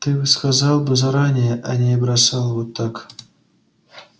ты сказал бы заранее а не бросал так вот